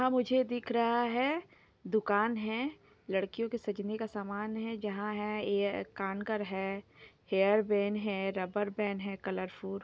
यहां मुझे दिख रहा है दुकान है लड़किओ का सजने का समान है जहां है ये कांकर है हैयर बैन है रबर बैन है कलरफूल --